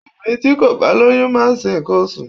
Obìnrin tí kò bá lóyún máa ń ṣe nǹkan oṣù.